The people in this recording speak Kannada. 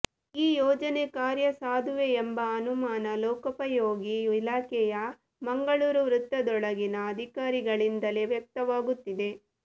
ಈ ಯೋಜನೆ ಕಾರ್ಯಸಾಧುವೇ ಎಂಬ ಅನುಮಾನ ಲೋಕೋಪಯೋಗಿ ಇಲಾಖೆಯ ಮಂಗಳೂರು ವೃತ್ತದೊಳಗಿನ ಅಧಿಕಾರಿಗಳಿಂದಲೇ ವ್ಯಕ್ತವಾಗುತ್ತಿದೆ